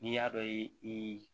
N'i y'a dɔn i